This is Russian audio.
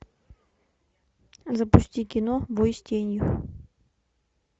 запусти кино бой с тенью